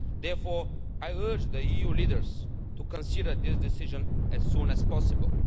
Therefore, I urge the EU leaders to consider this decision as soon as possible.